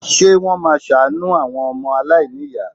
Ṣé wọ́n máa ṣàánú àwọn ọmọ aláìníyàá?